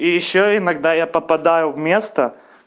и ещё иногда я попадаю в место